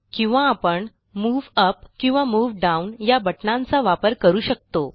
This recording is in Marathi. किंवा आपण मूव upकिंवा मूव डाउन या बटणांचा वापर करू शकतो